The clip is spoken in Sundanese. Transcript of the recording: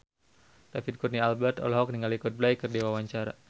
David Kurnia Albert olohok ningali Coldplay keur diwawancara